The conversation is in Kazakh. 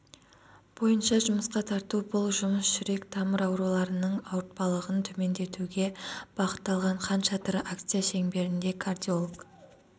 бойынша жұмысқа тарту бұл жұмыс жүрек-тамыр ауруларының ауыртпалығын төмендетуге бағытталған хан шатыр акция шеңберінде кардиолог